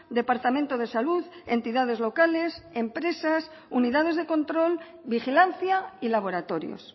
departamento de salud entidades locales empresas unidades de control vigilancia y laboratorios